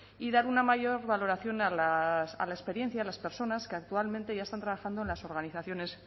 y dar una mayor valoración a la experiencia de las personas que actualmente ya están trabajando en las organizaciones